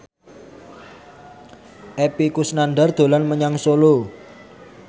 Epy Kusnandar dolan menyang Solo